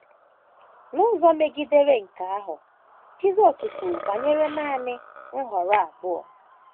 N’ụzọ megidere nke ahụ, Jisọs kwuru banyere nanị nhọrọ abụọ.